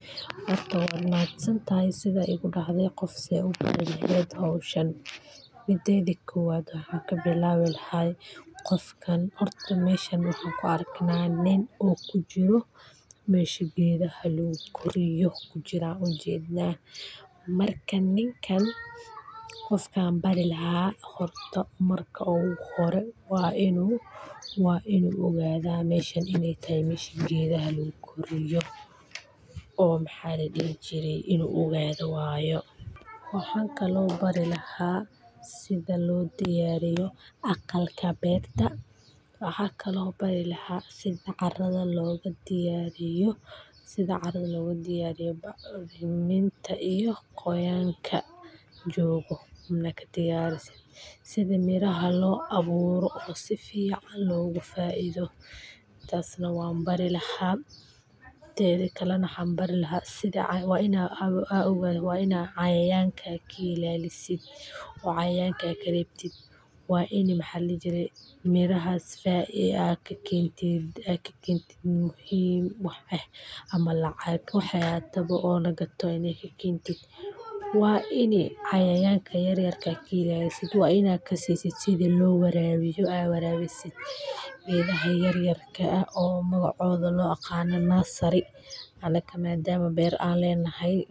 Horta waa ku mahad santahay ,waxaa igu tiri sidee u bari lahayd qof sida hawshan lo qabta .Waxan u jeda nin kudax jiro guri oo gedaha lagu xananeyo ,horta ninkan waxan bari lahaa marka hore inu ogado meshan iney tahay mesha gedaha laguguriyo oo maxa ladihi jire inu ogado waye ,waxan kale oo bari laha sidha loo dayariyo aqalka berta oo arada loga diyariyo acriminta iyo qoyanka jogtada ah inaa kadiyarisid ,sidha miraha loo aburo oo si fican loga faido tasna waan bari laha teda kalena waa ina cayayanka kailalisid oo cayayanka karebtid mirahas aad kakentin ama lacag aad ka kentin oo lagataba hadi kakentid waa ini cayayanka yaryar aad ka ilalisid oo sidha loo warabiyo aad warabisid geedaha yaryarka ah oo magacoda loo aqano nursery anaka maadama ber an lenahay.